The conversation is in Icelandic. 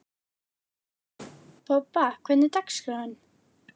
Ég hef svo sem heldur ekkert til þeirra að sækja.